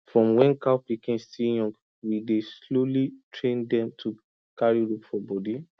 from when cow pikin still young we dey slowly train dem to carry rope for body